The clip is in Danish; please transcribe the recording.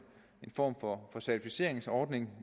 form for certificeringsordning